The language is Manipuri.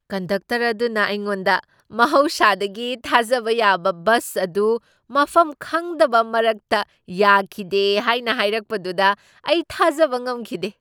ꯀꯟꯗꯛꯇꯔ ꯑꯗꯨꯅ ꯑꯩꯉꯣꯟꯗ ꯃꯍꯧꯁꯥꯗꯒꯤ ꯊꯥꯖꯕ ꯌꯥꯕ ꯕꯁ ꯑꯗꯨ ꯃꯐꯝ ꯈꯪꯗꯕ ꯃꯔꯛꯇ ꯌꯥꯈꯤꯗꯦ ꯍꯥꯏꯅ ꯍꯥꯏꯔꯛꯄꯗꯨ ꯑꯩ ꯊꯥꯖꯕ ꯉꯝꯈꯤꯗꯦ ꯫